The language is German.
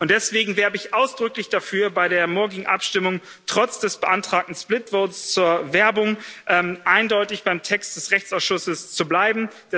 Deswegen werbe ich ausdrücklich dafür, bei der morgigen Abstimmung trotz des beantragten split vote zur Werbung eindeutig beim Text des Rechtsausschusses zu bleiben.